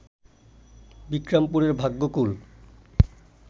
বিক্রমপুরের Bhagyakul